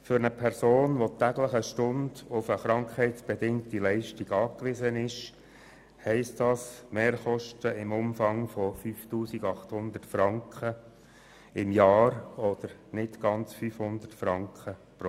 Für eine Person, die täglich eine Stunde auf eine krankheitsbedingte Leistung angewiesen ist, bedeutet dies Mehrkosten im Umfang von 5800 Franken jährlich oder nicht ganz 500 Franken monatlich.